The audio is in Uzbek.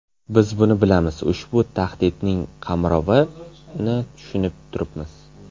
Biz buni bilamiz, ushbu tahdidning qamrovini tushunib turibmiz.